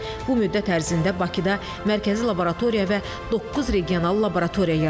Bu müddət ərzində Bakıda mərkəzi laboratoriya və doqquz regional laboratoriya yaradılıb.